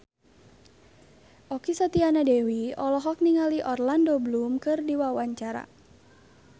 Okky Setiana Dewi olohok ningali Orlando Bloom keur diwawancara